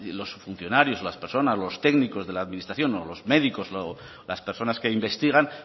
los funcionarios los técnicos de la administración o los médicos las personas que investigan